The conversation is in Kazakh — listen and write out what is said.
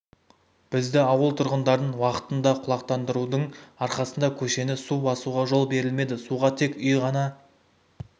бізді ауыл тұрғындарын уақытында құлақтандарудың арқасында көшені су басуға жол берілмеді суға тек үй ғана